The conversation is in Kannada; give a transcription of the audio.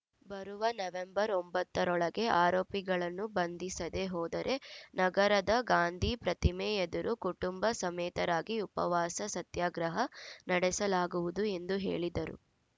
ಬರುವ ನವೆಂಬರ್‌ ಒಂಬತ್ತ ರೊಳಗೆ ಆರೋಪಿಗಳನ್ನು ಬಂಧಿಸದೆ ಹೋದರೆ ನಗರದ ಗಾಂಧಿ ಪ್ರತಿಮೆ ಎದುರು ಕುಟುಂಬ ಸಮೇತರಾಗಿ ಉಪವಾಸ ಸತ್ಯಾಗ್ರಹ ನಡೆಸಲಾಗುವುದು ಎಂದು ಹೇಳಿದರು